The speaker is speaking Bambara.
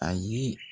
Ayi